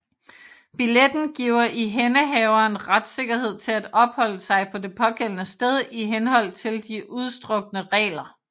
Billetten giver ihændehaveren retssikkerhed til at opholde sig på det pågældende sted i henhold til de udstukne regler